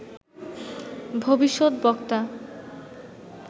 ভবিষ্যত বক্তা